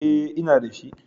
E, ina da shi.